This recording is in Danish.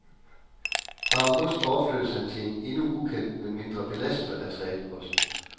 Fra august overflyttes han til en endnu ukendt men mindre belastende retrætepost.